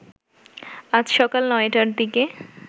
আজ সকাল ৯টার দিকে